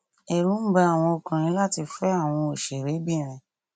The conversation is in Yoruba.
ẹrù ń ba àwọn ọkùnrin láti fẹ àwọn òṣèrèbìnrin